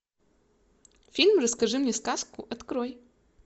фильм расскажи мне сказку открой